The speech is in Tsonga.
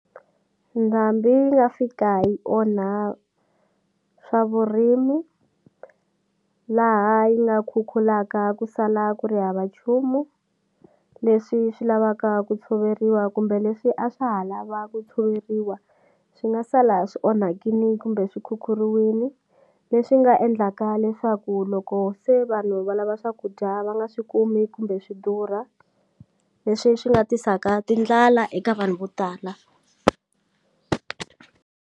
Ndhambi yi nga fika yi onha swa vurimi laha yi nga khukhulaka ku sala ku ri hava nchumu leswi swi lavaka ku tshoveriwa kumbe leswi a swa ha lava ku tshoveriwa swi nga sala swi onhakini kumbe swi khukhuriwini leswi nga endlaka leswaku loko se vanhu va lava swakudya va nga swi kumi kumbe swi durha leswi swi nga tisaka tindlala eka vanhu vo tala.